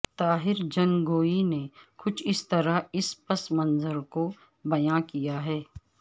طاہرجھنگوی نے کچھ اس طرح اس پس منظر کوبیان کیاہے